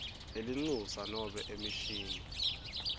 lelincusa nobe emishini